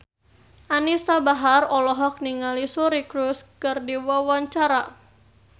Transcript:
Anisa Bahar olohok ningali Suri Cruise keur diwawancara